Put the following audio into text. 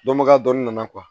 Dɔnbaga dɔ nana